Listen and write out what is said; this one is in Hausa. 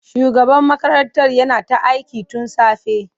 Shugaban makarantar yana ta aiki tun safe.